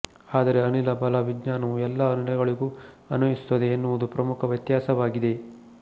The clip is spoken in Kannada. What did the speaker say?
ಆದರೆ ಅನಿಲ ಬಲ ವಿಜ್ಞಾನವು ಎಲ್ಲಾ ಅನಿಲಗಳಿಗೂ ಅನ್ವಯಿಸುತ್ತದೆ ಎನ್ನುವುದು ಪ್ರಮುಖ ವ್ಯತ್ಯಾಸವಾಗಿದೆ